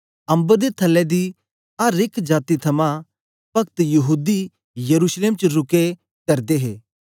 अम्बर दे थलै दी अर एक जाती थमां भक्तयहूदी यरूशलेम च रुके करदे हे